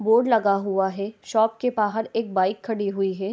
Board लगा हुआ है शॉप के बाहर एक बाइक खडी हुई है।